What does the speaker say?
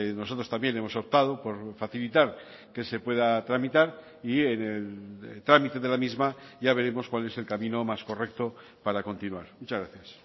nosotros también hemos optado por facilitar que se pueda tramitar y en el trámite de la misma ya veremos cuál es el camino más correcto para continuar muchas gracias